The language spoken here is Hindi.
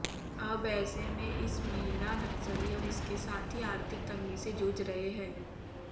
अब ऐसे में इस महिला नक्सली और इसके साथी आर्थिक तंगी से झूझ रहे हैं